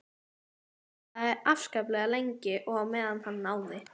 Hann talaði afskaplega lengi og á meðan náði